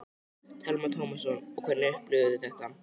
Telma Tómasson: Og hvernig upplifðuð þið þetta?